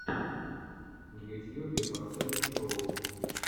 в ютьюбе поставь шоу